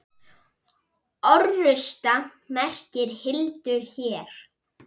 Orrusta merkir hildur hér.